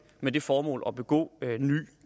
med det formål at begå ny